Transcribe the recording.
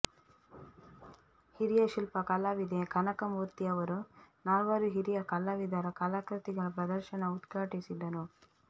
ಹಿರಿಯ ಶಿಲ್ಪ ಕಲಾವಿದೆ ಕನಕಾ ಮೂರ್ತಿ ಅವರು ನಾಲ್ವರು ಹಿರಿಯ ಕಲಾವಿದರ ಕಲಾಕೃತಿಗಳ ಪ್ರದರ್ಶನ ಉದ್ಘಾಟಿಸಿದರು